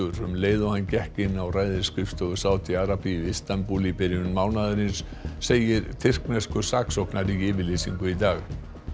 um leið og hann gekk inn á ræðisskrifstofu Sádi Arabíu í Istanbúl í byrjun mánaðarins segir tyrkneskur saksóknari í yfirlýsingu í dag